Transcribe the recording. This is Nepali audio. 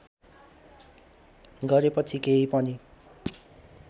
गरेपछि केही पनि